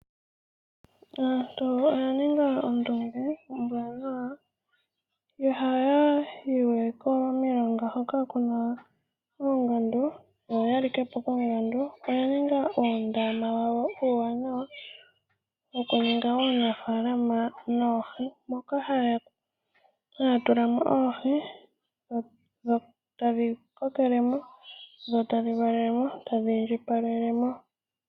Aantu oyaninga ondunge ombwanawa, ihaya yiwe komilonga hoka Kuna oongandu yo oyalikepo koongandu , oyaninga uundama wawo uuwanawa wokuninga uunafalama wOohii, Moka haya tulamo oohii dho tadhi kokelemo dho tadhi mvalelemo dho tadhi indjipalelemo.